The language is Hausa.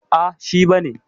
Ah, shi ba ne.